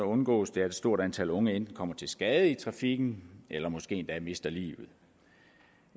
undgås det at et stort antal unge enten kommer til skade i trafikken eller måske endda mister livet